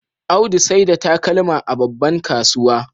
Audu saida takalma a babban kasuwa